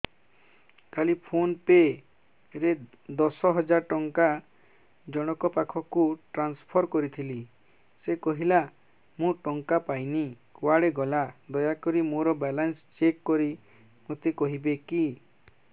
କାଲି PhonePe ରେ ଦଶ ହଜାର ଟଙ୍କା ଜଣକ ପାଖକୁ ଟ୍ରାନ୍ସଫର୍ କରିଥିଲି ସେ କହିଲା ମୁଁ ଟଙ୍କା ପାଇନି କୁଆଡେ ଗଲା ଦୟାକରି ମୋର ବାଲାନ୍ସ ଚେକ୍ କରି ମୋତେ କହିବେ କି